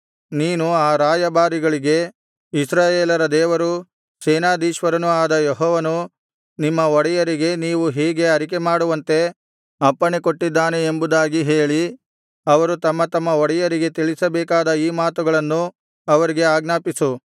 ನೀನು ಆ ರಾಯಭಾರಿಗಳಿಗೆ ಇಸ್ರಾಯೇಲರ ದೇವರೂ ಸೇನಾಧೀಶ್ವರನೂ ಆದ ಯೆಹೋವನು ನಿಮ್ಮ ಒಡೆಯರಿಗೆ ನೀವು ಹೀಗೆ ಅರಿಕೆಮಾಡುವಂತೆ ಅಪ್ಪಣೆಕೊಟ್ಟಿದ್ದಾನೆ ಎಂಬುದಾಗಿ ಹೇಳಿ ಅವರು ತಮ್ಮ ತಮ್ಮ ಒಡೆಯರಿಗೆ ತಿಳಿಸಬೇಕಾದ ಈ ಮಾತುಗಳನ್ನು ಅವರಿಗೆ ಆಜ್ಞಾಪಿಸು